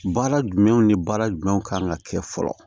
Baara jumɛnw ni baara jumɛnw kan ka kɛ fɔlɔ